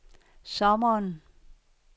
sommeren